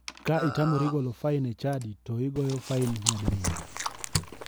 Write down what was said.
Ka itamori golo fain e chadi to igoyo fain nyadi riyo.